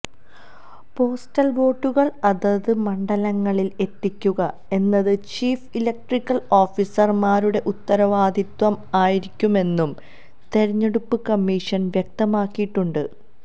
postal വോട്ടുകൾ അതത് മണ്ഡലങ്ങളിൽ എത്തിക്കുക എന്നത് ചീഫ് ഇലക്ട്രൽ ഓഫീസർമാരുടെ ഉത്തരവാദിത്വം ആയിരിക്കുമെന്നും തെരഞ്ഞെടുപ്പ് കമ്മീഷൻ വ്യക്തമാക്കിയിട്ടുണ്ട്